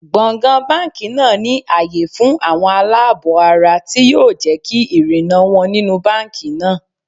Gbọ̀ǹgbọ̀ǹ báńkì náà ní àyè fún àwọn aláàbọ̀-ara tí yóò jẹ́ kí ìrìnnà wọn nínú báńkì náà.